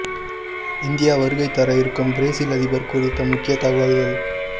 India வருகை தர இருக்கும் பிரேசில் அதிபர் குறித்த முக்கிய தகவல்கள்